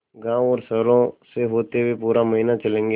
गाँवों और शहरों से होते हुए पूरा महीना चलेंगे